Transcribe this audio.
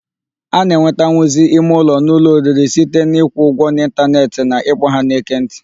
A na-enwetanwuzi ime ụlọ n'ụlọ oriri site n'ịkwụ ụgwọ n'ịntaneetị na ịkpọ ha n'ekentị.